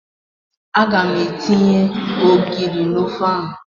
Aga m etinye ogiri n'ofe ahụ.